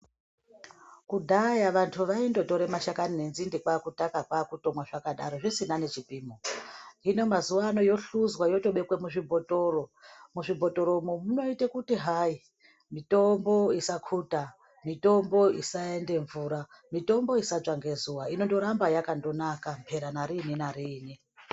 Kudhaya vantu vaindotore mashakani nenzinde kwaakutaka ,kwaakutomwa zvakadaro, zvisina nechipimo. Hino mazuwa ano yohluzwa yotobekwe muzvibhotoro. Muzvibhotoro munoite kuti hayi ,mitombo isakhuta, mitombo isaende mvura, mitombo isatsva ngezuwa. Inondoramba yakandonaka ,mphera nariini nariini.